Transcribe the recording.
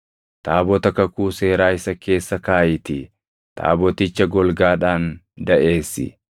Taabota kakuu seeraa isa keessa kaaʼiitii taaboticha golgaadhaan daʼeessi.